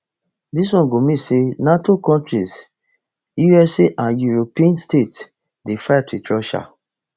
dis one go mean say nato kontris usa and european states dey fight wit russia